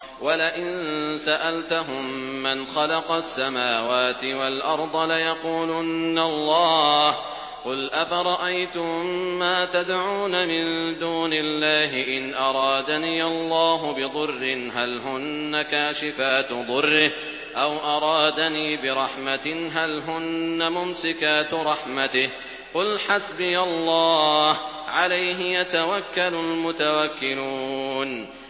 وَلَئِن سَأَلْتَهُم مَّنْ خَلَقَ السَّمَاوَاتِ وَالْأَرْضَ لَيَقُولُنَّ اللَّهُ ۚ قُلْ أَفَرَأَيْتُم مَّا تَدْعُونَ مِن دُونِ اللَّهِ إِنْ أَرَادَنِيَ اللَّهُ بِضُرٍّ هَلْ هُنَّ كَاشِفَاتُ ضُرِّهِ أَوْ أَرَادَنِي بِرَحْمَةٍ هَلْ هُنَّ مُمْسِكَاتُ رَحْمَتِهِ ۚ قُلْ حَسْبِيَ اللَّهُ ۖ عَلَيْهِ يَتَوَكَّلُ الْمُتَوَكِّلُونَ